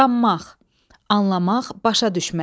Qammaq, anlamaq, başa düşmək.